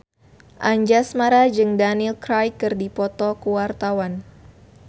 Anjasmara jeung Daniel Craig keur dipoto ku wartawan